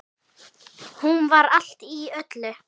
Hún var allt í öllu.